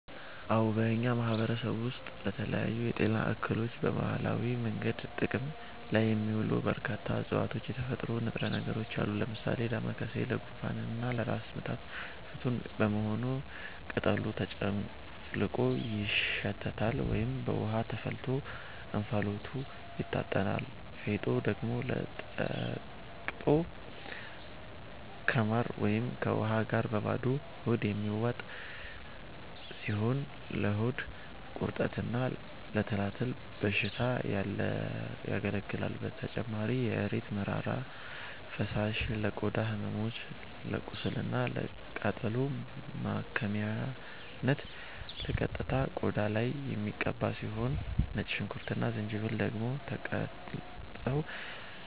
አዎ፣ በእኛ ማህበረሰብ ውስጥ ለተለያዩ የጤና እክሎች በባህላዊ መንገድ ጥቅም ላይ የሚውሉ በርካታ እፅዋትና የተፈጥሮ ንጥረ ነገሮች አሉ። ለምሳሌ ዳማከሴ ለጉንፋንና ለራስ ምታት ፍቱን በመሆኑ ቅጠሉ ተጨፍልቆ ይሸተታል ወይም በውሃ ተፈልቶ እንፋሎቱ ይታጠናል፤ ፌጦ ደግሞ ተወቅጦ ከማር ወይም ከውሃ ጋር በባዶ ሆድ የሚዋጥ ሲሆን ለሆድ ቁርጠትና ለትላትል በሽታ ያገለግላል። በተጨማሪም የእሬት መራራ ፈሳሽ ለቆዳ ህመሞች፣ ለቁስልና ለቃጠሎ ማከሚያነት በቀጥታ ቆዳ ላይ የሚቀባ ሲሆን፣ ነጭ ሽንኩርትና ዝንጅብል ደግሞ ተቀጥቅጠው